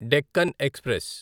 Deccan express